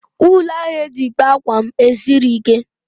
Wuulu ahụ eji kpaa ákwà m esighị ike.